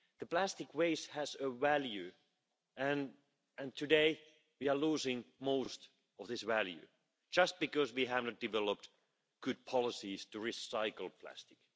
Plastic waste has a value and today we are losing most of this value, simply because we have not developed good policies to recycle plastic.